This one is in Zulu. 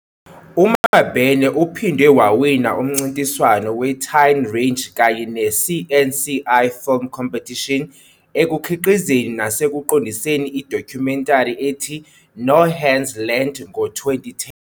UMabene uphinde wawina umncintiswano we-Tine Rage kanye ne-CNCI Film Competition ekukhiqizeni nasekuqondiseni i-documentary ethi 'No Hands Land.' ngo-2010.